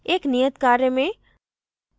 एक नियत कार्य में